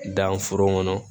Dan foro kɔnɔ